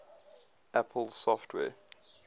apple software